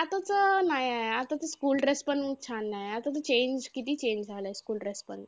आता तर नाही आहे. आता तर school dress पण छान नाही. आता तर change किती change झालंय school dress पण.